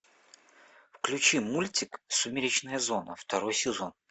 включи мультик сумеречная зона второй сезон